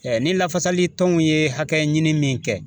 ni lafasali tɔnw ye hakɛ ɲini min kɛ